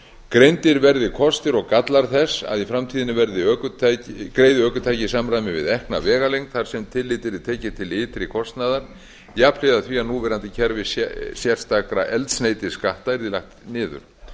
greindir verði kostir og gallar þess að í framtíðinni greiði ökutæki í samræmi við ekna vegalengd þar sem tillit yrði tekið til ytri kostnaðar jafnhliða því að núverandi kerfi sérstakra eldsneytisskatta yrði lagt niður